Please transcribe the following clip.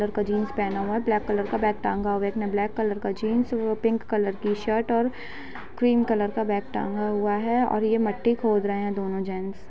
लड़का जींस पहना हुआ है ब्लैक कलर का बैग टांगा हुआ है ब्लैक कलर का जींस और वो पिंक कलर का शर्ट और ग्रीन कलर का बैग टांगा हुआ है और ये मट्टी खोद रहे हैं दोनों जेन्स --